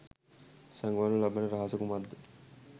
සගවනු ලබන රහස කුමක්ද?